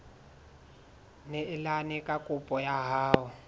neelane ka kopo ya hao